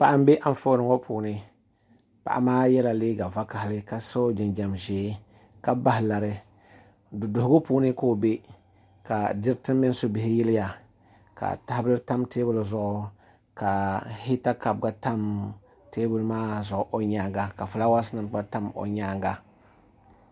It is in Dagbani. Paɣa n bɛ anfooni ŋo puuni paɣa maa yɛla liiga vakaɣali ka so jinjɛm ʒiɛ ka bahi lari duduɣugu puuni ka o bɛ ka diriti mini subihi yiliya ka tahabili tam teebuli zuɣu ka hita kaap gba tam teebuli maa zuɣu o nyaanga ka fulaawaasi nim gba tam o nyaanga